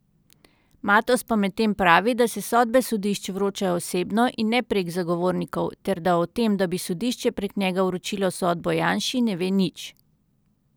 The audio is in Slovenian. Matoz pa medtem pravi, da se sodbe sodišč vročajo osebno in ne prek zagovornikov ter da o tem, da bi sodišče prek njega vročilo sodbo Janši ne ve nič.